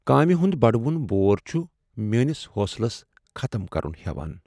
کامہِ ہُند بڈوُن بور چُھ میٲنس حوصلس ختم كرُن ہیوان۔